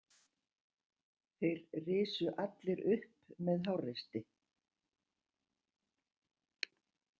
Þeir risu allir upp með háreysti.